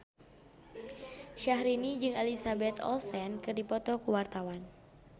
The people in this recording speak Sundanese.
Syahrini jeung Elizabeth Olsen keur dipoto ku wartawan